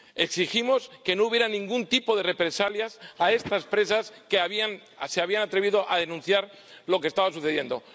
Exigimos que no hubiera ningún tipo de represalias contra estas presas que se habían atrevido a denunciar lo que estaba sucediendo.